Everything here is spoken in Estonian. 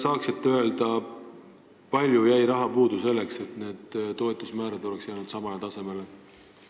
Kas te saate öelda, kui palju raha jäi puudu selleks, et need toetuse määrad oleks jäänud samale tasemele?